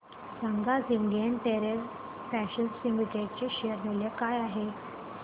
सांगा आज Indian Terrain Fashions Limited चे शेअर मूल्य काय आहे